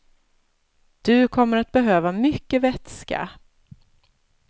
Du kommer att behöva mycket vätska.